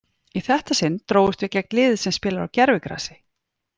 Í þetta sinn drógust við gegn liði sem spilar á gervigrasi.